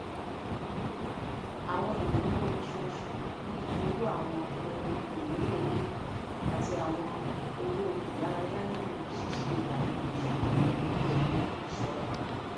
àwọn ináwó oṣooṣù bí owó àwọn ohun ìmúlò ilé àti àwọn owó ìdárayá nílò ṣíṣe ìlànà ìṣúná pẹlú ìṣọra